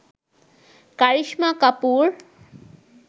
Karisma Kapoor